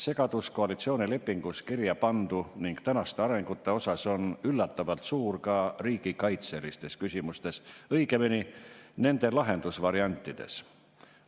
Segadus koalitsioonilepingus kirja pandu ning tänaste arengute osas on üllatavalt suur ka riigikaitselistes küsimustes, õigemini nende lahendusvariantides.